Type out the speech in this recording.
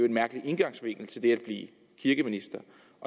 en mærkelig indgangsvinkel til det at blive kirkeminister